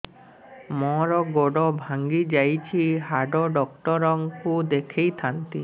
ମୋର ଗୋଡ ଭାଙ୍ଗି ଯାଇଛି ହାଡ ଡକ୍ଟର ଙ୍କୁ ଦେଖେଇ ଥାନ୍ତି